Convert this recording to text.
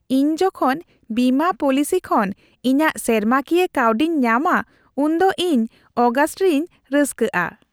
ᱤᱧ ᱡᱚᱠᱷᱚᱱ ᱵᱤᱢᱟᱹ ᱯᱚᱞᱤᱥᱤ ᱠᱷᱚᱱ ᱤᱧᱟᱹᱜ ᱥᱮᱨᱢᱟᱠᱤᱭᱟᱹ ᱠᱟᱹᱣᱰᱤᱧ ᱧᱟᱢᱟ ᱩᱱᱫᱚ ᱤᱧ ᱚᱜᱟᱥᱴ ᱨᱤᱧ ᱨᱟᱹᱥᱠᱟᱹᱜᱼᱟ ᱾